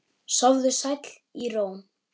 Sofðu sæll í ró.